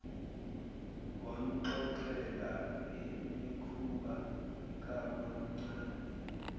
wamxoxela ngemikhuba kamamncane